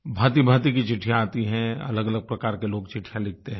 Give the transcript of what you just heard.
भाँतिभाँति की चिट्ठियाँ आती हैं अलगअलग प्रकार के लोग चिट्ठियाँ लिखते हैं